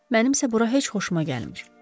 Mənimsə bura heç xoşuma gəlmir.